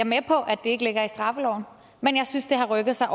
med på at det ikke ligger i straffeloven men jeg synes det har rykket sig